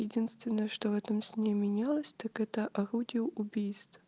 единственное что в этом сне менялась так это орудие убийств